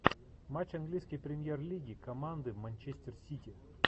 матч английской премьер лиги команды манчестер сити